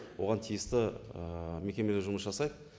оған тиісті ііі мекемелер жұмыс жасайды